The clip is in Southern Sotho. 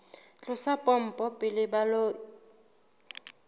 tlosa pompo pele ba ilo